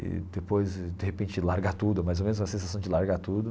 E depois, de repente, largar tudo, mais ou menos uma sensação de largar tudo.